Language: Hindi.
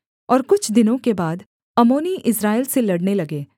और कुछ दिनों के बाद अम्मोनी इस्राएल से लड़ने लगे